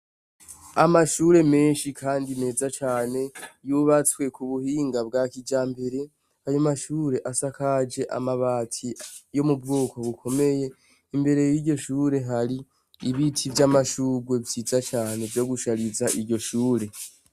Amashure menshi kandi meza cyane yubatswe k'ubuhinga bwakijambere; ayomashure asakaje amabati yo m'ubwoko bukomeye imbere, y'iryoshure hari ibiti vy'amashugwe vyiza cane vyo gushariza iryoshure.